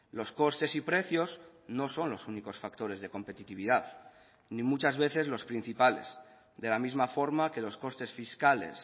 los costes y precios no son los únicos factores de competitividad ni muchas veces los principales de la misma forma que los costes fiscales